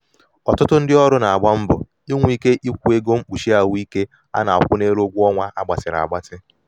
ọtụtụ ndị ọrụ na-agba mbọ inwe ike ịkwụ ego mkpuchi ahụike a na-akwụ n'elu ụgwọ ọnwa a gbatịrịla agbatị.